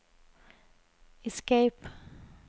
escape